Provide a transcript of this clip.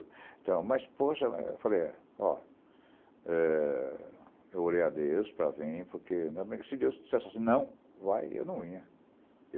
Então, mas poxa, eu falei, ó, é, eu orei a Deus para vir, porque se Deus dissesse assim, não, vai, eu não ia.